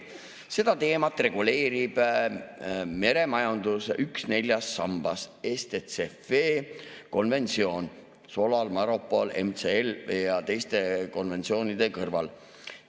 Seda teemat reguleerib üks meremajanduse neljast sambast, STCW-konventsioon SOLAS‑, MARPOL‑ ja MLC-konventsioonide kõrval.